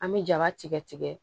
An bɛ jaba tigɛ tigɛ